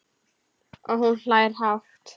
Og hún hlær hátt.